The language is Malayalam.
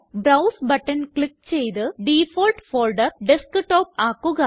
ബ്രൌസ് ബട്ടൺ ക്ലിക്ക് ചെയ്ത് ഡിഫാൾട്ട് ഫോൾഡർ ഡെസ്ക്ടോപ്പ് ആക്കുക